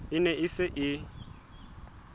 e ne e se e